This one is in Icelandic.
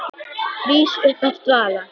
Rís upp af dvala.